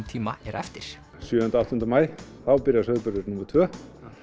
tíma er eftir sjöunda áttunda maí þá byrjar sauðburður númer tvö